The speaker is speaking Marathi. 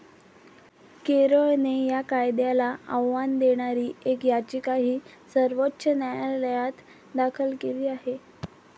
केरळने या कायद्याला आव्हान देणारी एक याचिकाही सर्वोच्च न्यायालयात दाखल केली आहे.